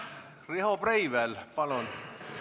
Riho Breivel, palun!